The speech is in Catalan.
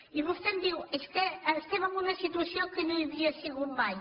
i vostè em diu és que estem en una situació que no hi havia sigut mai